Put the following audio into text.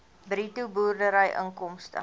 bruto boerdery inkomste